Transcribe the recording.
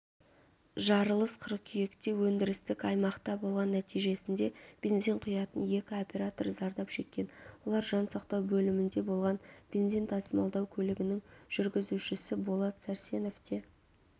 жарылыс қыркүйектеөндірістік аймақтаболған нәтижесінде бензин құятын екі оператор зардап шеккен олар жансақтау бөлімінде болған бензин тасымалдау көлігінің жүргізушісі болат сәрсенов те